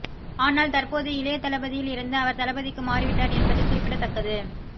ஆனால் தற்போது இளைதளபதியில் இருந்து அவர் தளபதிக்கு மாறிவிட்டார் என்பது குறிப்பிடத்தக்கது